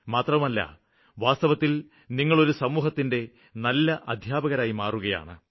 മാത്രമല്ല വാസ്തവത്തില് നിങ്ങള് ഒരു സമൂഹത്തിന്റെ നല്ല അദ്ധ്യാപകരായി മാറുകയാണ്